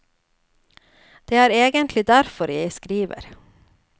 Det er egentlig derfor jeg skriver.